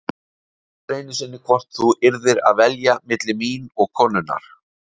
Þú spurðir einu sinni hvort þú yrðir að velja milli mín og konunnar.